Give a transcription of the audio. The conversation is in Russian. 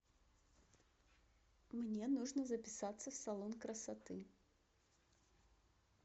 мне нужно записаться в салон красоты